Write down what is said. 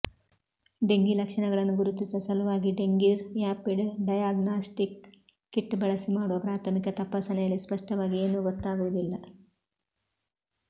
dengue ಲಕ್ಷಣಗಳನ್ನು ಗುರುತಿಸುವ ಸಲುವಾಗಿ ಡೆಂಗಿ ರ್್ಯಾಪಿಡ್ ಡಯಗ್ನಾಸ್ಟಿಕ್ ಕಿಟ್ ಬಳಸಿ ಮಾಡುವ ಪ್ರಾಥಮಿಕ ತಪಾಸಣೆಯಲ್ಲಿ ಸ್ಪಷ್ಟವಾಗಿ ಏನೂ ಗೊತ್ತಾಗುವುದಿಲ್ಲ